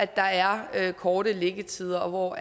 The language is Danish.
der er kortere liggetider og hvor